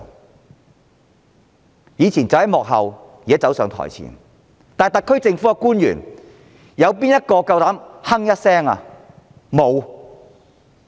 他們以往站在幕後，現在卻走上台前，沒有特區政府官員膽敢哼一聲。